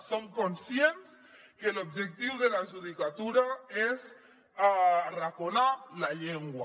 som conscients que l’objectiu de la judicatura és arraconar la llengua